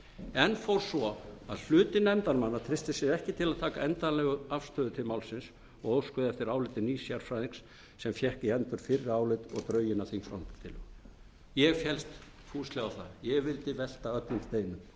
enn fór svo að hluti nefndarmanna treysti sér ekki til að taka endanlega afstöðu til málsins og óskaði eftir áliti nýs sérfræðings sem fékk í hendur fyrra álit og drögin að því ég féllst fúslega á það ég vildi velta öllum steinum